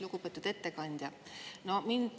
Lugupeetud ettekandja!